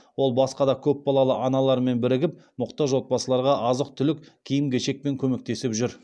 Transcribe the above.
ол басқа да көпбалалы аналармен бірігіп мұқтаж отбасыларға азық түлік киім кешекпен көмектесіп жүр